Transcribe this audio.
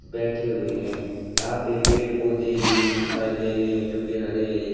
बैठे हुए हैं यहां पे पेड़ पौधे भी दिखाई दे रहे हैं जो की हरे हरे--